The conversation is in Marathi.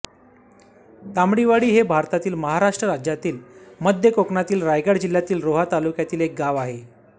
तांबडीवाडी हे भारतातील महाराष्ट्र राज्यातील मध्य कोकणातील रायगड जिल्ह्यातील रोहा तालुक्यातील एक गाव आहे